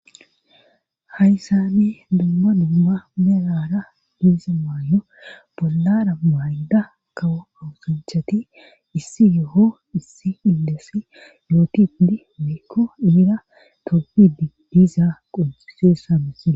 haysane dumma dumma beraara diiza maayo bollara bayda kawo awusanchati issi yo7o issi indessi yootidi mikko iira toppidi diizaa qonseessa misee